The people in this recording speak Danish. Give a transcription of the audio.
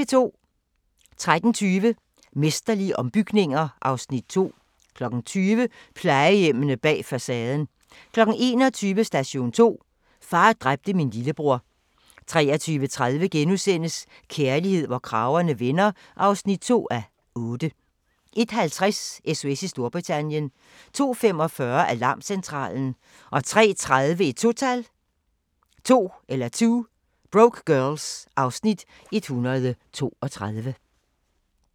13:20: Mesterlige ombygninger (Afs. 2) 20:00: Plejehjemmene bag facaden 21:00: Station 2: Far dræbte min lillebror 23:30: Kærlighed, hvor kragerne vender (2:8)* 01:50: SOS i Storbritannien 02:45: Alarmcentralen 03:30: 2 Broke Girls (Afs. 132)